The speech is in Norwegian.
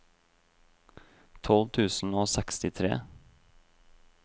tolv tusen og sekstitre